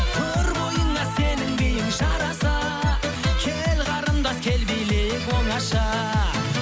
тұр бойыңа сенің биің жараса кел қарындас кел билейік оңаша